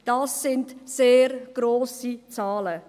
Dies sind sehr grosse Zahlen.